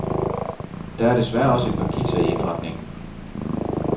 Der er desværre også et par kiksere i indretningen.